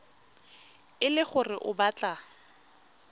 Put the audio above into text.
e le gore o batla